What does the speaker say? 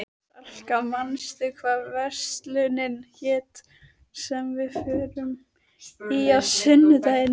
Salka, manstu hvað verslunin hét sem við fórum í á sunnudaginn?